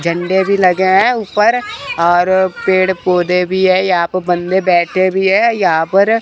झंडे भी लगे हैं ऊपर और पेड़ पौधे भी है यहां पे बंदे बैठे भी है यहां पर--